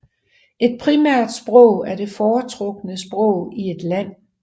Et primært sprog er det foretrukne sprog i et land